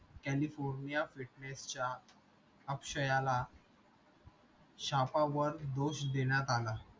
california fitness च्या अक्षयाला छापा वर दोष देण्यात आला